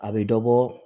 A bɛ dɔ bɔ